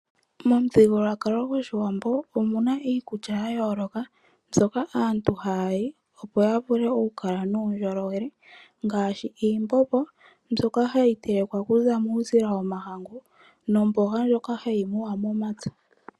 Momuthigululwakalo gOshiwambo omuna iikulya ya yooloka mbyoka aantu haali opo ya vule oku kala nuundjolowele, ngaashi iimbombo mbyoka hayi telekwa okuza muusila womahangu nomboga ndjoka hayi muwa momapya.